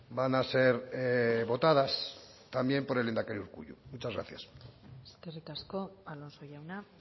van a ser votadas también por el lehendakari urkullu muchas gracias eskerrik asko alonso jauna